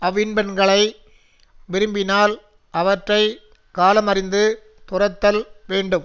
அவ்வின்பங்களை விரும்பினால் அவற்றை காலமறிந்து துறத்தல் வேண்டும்